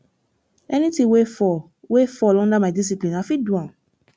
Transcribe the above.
anything wey fall wey fall under my discipline i fit do am